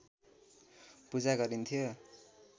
पूजा गरिन्थ्यो